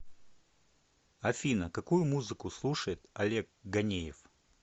афина какую музыку слушает олег ганеев